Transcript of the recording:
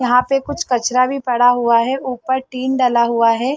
यहाँ पे कुछ कचरा भी पड़ा हुआ है ऊपर टिन डला हुआ है।